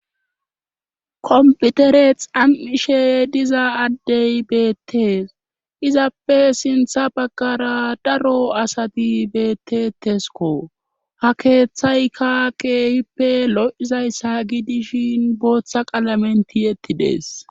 komputere xam7ishe diza addey beettees izappe sintha baggara daro asati beettetesko ha keeththayka keehippe lo7izayssa gidishin booththa qalamenti yettidees